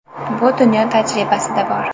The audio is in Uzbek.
Bu dunyo tajribasida bor.